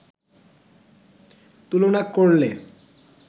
তুলনা করলে